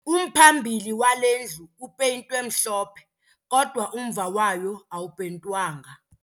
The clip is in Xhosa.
Umphambili wale ndlu upeyintwe mhlophe kodwa umva wayo awupeyintwanga.